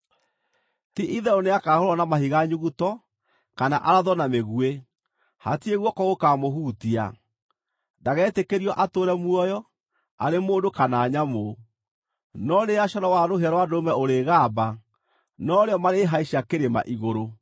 Ti-itherũ nĩakahũũrwo na mahiga nyuguto, kana arathwo na mĩguĩ; hatirĩ guoko gũkaamũhutia. Ndagetĩkĩrio atũũre muoyo, arĩ mũndũ kana nyamũ.’ No rĩrĩa coro wa rũhĩa rwa ndũrũme ũrĩgamba, no rĩo marĩhaica kĩrĩma igũrũ.”